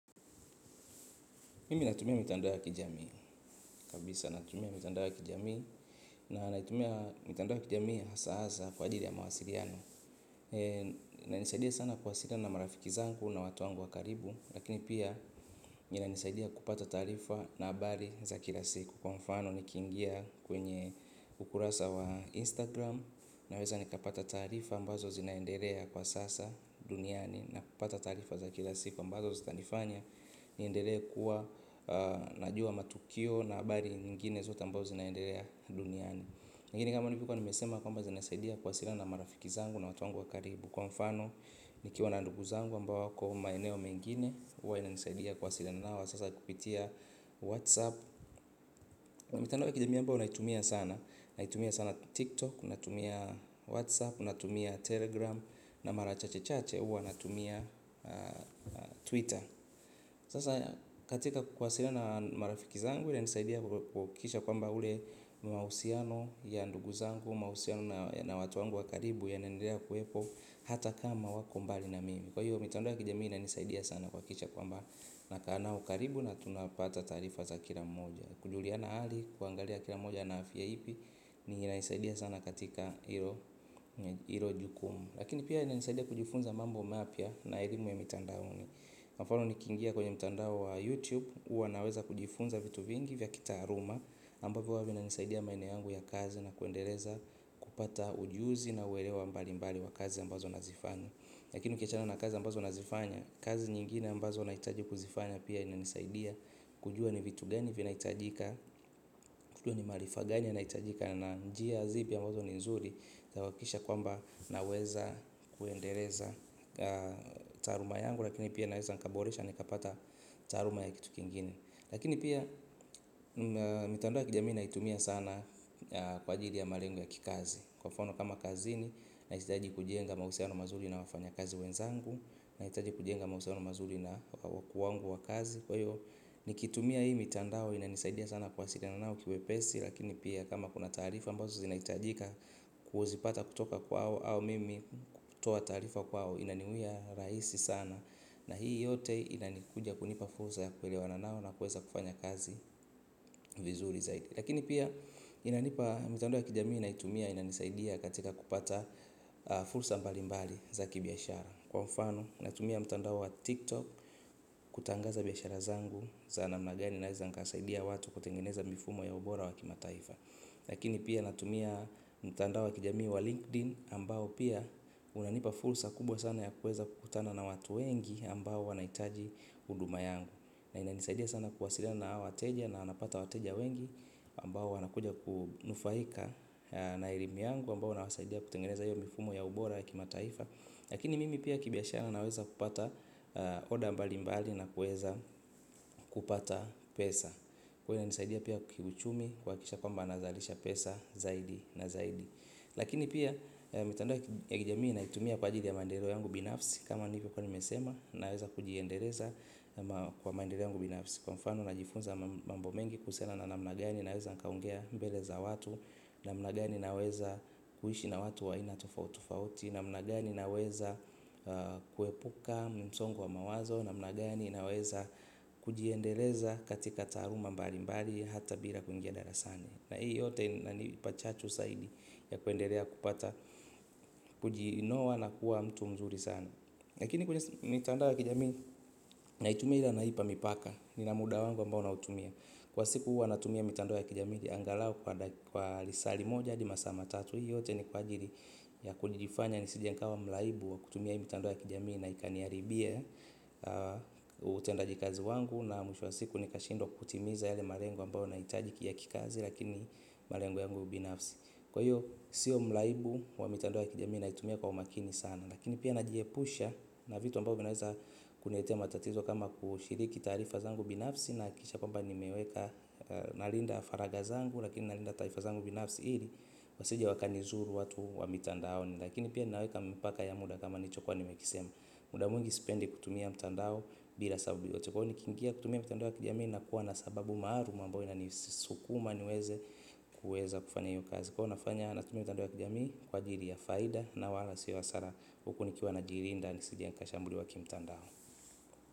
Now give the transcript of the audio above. Mimi natumia mitandao ya kijamii kabisa natumia mitandao ya kijamii na natumia mitandao ya kijamii hasa hasa kwa ajili ya mawasiriano inanisaidia sana kuwasiliana na marafiki zangu na watu wangu wa karibu. Lakini pia inanisaidia kupata tarifa na habari za kila siku kwa mfano ni kingia kwenye ukurasa wa instagram. Na weza nikapata tarifa ambazo zinaenderea kwa sasa duniani na kupata tarifa za kila siku ambazo zitanifanya niendele kuwa najua matukio na habari nyingine zote ambazo zinaendelea duniani lakini kama nilipokuwa nimesema kwamba zinaaidia kuwasiliana na marafiki zangu na watu wangu wakaribu. Kwa mfano nikiwa na ndugu zangu ambao kwa maeneo mengine uwa ina nisaidia kuwasiliana nao sasa kupitia Whatsapp. Mitandao ya kijamia ambao na itumia sana. Na itumia sana TikTok, natumia Whatsapp, natumia Telegram. Na marachache chache uwa natumia Twitter. Sasa katika kuwasiliana marafiki zangu walinisaidia kuhakisha kwa mba ule mausiano ya ndugu zangu mausiano na watu wangu wakaribu yanaendelea kuwepo hata kama wako mbali na mimi. Kwa hiyo mitandao ya kijamii inanisaidia sana kuhakisha kwa mba nakaa nao karibu na tunapata tarifa za kila mmoja. Kujuliana hali kuangalia kila mmoja na afya ipi ni inanisaidia sana katika hilo jukumu. Lakini pia ilanisaidia kujifunza mambo mapya na elimu ya mitandaoni. Mfano ni kingia kwenye mtandao wa YouTube Uwanaweza kujifunza vitu vingi vya kitaaruma ambavyo huwa vina nisaidia maeneo yangu ya kazi na kuendeleza kupata ujuzi na uelewa mbali mbali wa kazi ambazo nazifanya. Lakini ukiachana na kazi ambazo nazifanya kazi nyingine ambazo naitaji kuzifanya pia inanisaidia kujua ni vitu gani vinahitajika kujua ni maarifa gani yanahitajika na njia zipi ni nzuri zakuhakikisha kwamba naweza kuendeleza taaruma yangu lakini pia naweza nikaboresha nikapata taaruma ya kitu kingine mitandao ya kijamii naitumia sana kwa ajili ya malengo ya kikazi. Kwa mfano kama kazini na hitaji kujenga mausiano mazuri na wafanya kazi wenzangu. Na hitaji kujenga mausiano mazuri na wakuu wangu wa kazi. Kwa hiyo nikitumia hii mitandao ina nisaidia sana kuwasiriana nao kiwe pesi. Lakini pia kama kuna tarifa ambazo zinaitajika kuzipata kutoka kwao au mimi kutoa tarifa kwao inaniwia raisi sana na hii yote inanikuja kunipa fursa ya kuelewa na nao na kuweza kufanya kazi vizuri zaidi lakini pia inanipa mitandao ya kijamii naitumia inanisaidia katika kupata fursa mbali mbali zaki biashara kwamfano natumia mtandao wa tiktok kutangaza biashara zangu za na mnagani na za nikasaidia watu kutengeneza mifumo ya ubora wa kimataifa lakini pia natumia mtandao wa kijamii wa linkedin ambao pia unanipa fursa kubwa sana ya kueza kukutana na watu wengi ambao wanaitaji huduma yangu na ina nisaidia sana kuwasila na hawa wateja na napata wateja wengi ambao wanakuja kunufaika na elimu yangu ambao nawasaidia kutengeneza hiyo mifumo ya ubora ya kimataifa lakini mimi pia kibia shara naweza kupata oda mbali mbali na kueza kupata pesa huwa inanisaidia pia kiuuchumi kuhakikisha kwamba nazalisha pesa zaidi na zaidi. Lakini pia mitandao ya kijamii na itumia kwa ajili ya mandereo yangu binafsi kama nilivo kuwa nimesema naweza kujiendeleza kwa maendereo yangu binafsi. Kwa mfano na jifunza mambo mengi kuhusiana na namnagani naeza nikaongea mbele za watu namnagani naweza kuishi na watu wainatofautofauti namnagani naweza kuepuka msongo wa mawazo namnagani naweza kujiendeleza katika taruma mbali mbali hata bila kuingia darasani. Na hii yote inani pachachu saidi ya kuenderea kupata kujiinua na kuwa mtu mzuri sana. Lakini kwenye mitandoa ya kijamii na itumia ila naipa mipaka. Nina muda wangu ambao na utumia. Kwa siku huwa natumia mitandao ya kijamii angalau kwa lisali moja hadi masaa ma tatu. Hii yote ni kwa jiri ya kujifanya nisijankawa mlaibu wa kutumia hii mitandoa ya kijamii na ikaniaribie. Utendaji kazi wangu na mwisho wa siku nikashindwa kutimiza yale marengo ambao na itajiki ya kikazi. Lakini malengo yangu binafsi kwa hiyo siyo mlaibu wa mitandao ya kijamii na itumia kwa umakini sana. Lakini pia najiepusha na vitu ambao vinaeza kuniletea ma tatizo kama kushiriki tarifazangu binafsi. Naakikisha kwamba nimeweka nalinda faragazangu lakini nalinda tarifazangu binafsi hili wasijia wakanizuru watu wa mitandaoni. Lakini pia ninaweka mpaka ya muda kama nicho kwa nimekisema. Muda mwingi spendi kutumia mitandao bila sababu yote. Kwa hiyo ni kingia kutumia mitandoa kijamii na kuwa na sababu mararum ambayo ina nisukuma niweze kueza kufanya yu kazi kwa nafanya natumia mtandao ya kijamii kwa jiri ya faida na wala sio hasara huku nikiwa na jiri nda nisije nikashambuli wa kimtandao.